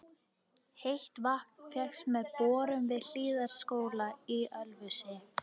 Heitt vatn fékkst með borun við Hlíðardalsskóla í Ölfusi.